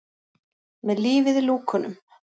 Með lífið í lúkunum!